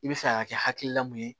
I bɛ fɛ ka kɛ hakilila mun ye